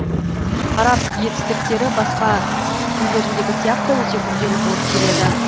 араб етістіктері басқа семит тілдеріндегі сияқты өте күрделі болып келеді